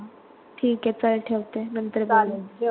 ठिके, चल ठेवते नंतर बोलू